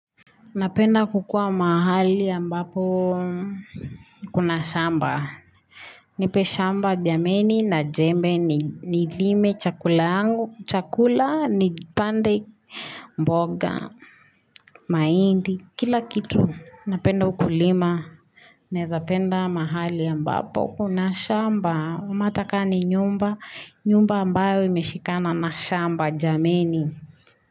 Napenda kukua mahali ambapo kuna shamba. Nipe shamba jameni na jembe nilime chakula yangu, chakulaa nipande mboga, mahindi, kila kitu. Napenda ukulima. Naeza penda mahali ambapo kuna shamba. Ama ata ka ninyumba. Nyumba ambayo imeshikana na shamba jameni.